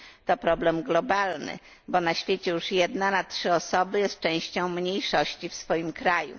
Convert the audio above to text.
To problem globalny, bo na świecie już jedna na trzy osoby jest częścią mniejszości w swoim kraju.